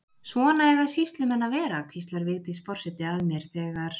Svona eiga sýslumenn að vera hvíslar Vigdís forseti að mér þegar